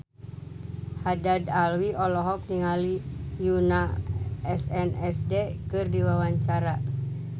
Haddad Alwi olohok ningali Yoona SNSD keur diwawancara